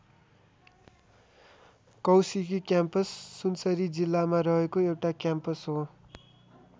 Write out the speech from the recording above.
Kaushiki campus Sunsari जिल्लामा रहेको एउटा क्याम्पस हो।